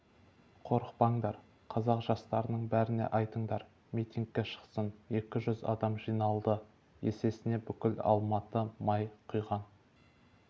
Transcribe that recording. қорықпаңдар қазақ жастарының бәріне айтыңдар митингке шықсын екі жүз адам жиналды есесіне бүкіл алматы май құйған